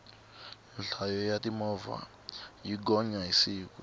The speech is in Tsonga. nhlayo ya timovha yi gonya hi siku